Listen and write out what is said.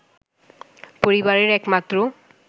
পরিবারের এক মাত্র